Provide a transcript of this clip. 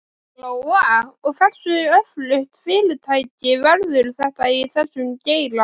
Lóa: Og hversu öflugt fyrirtæki verður þetta í þessum geira?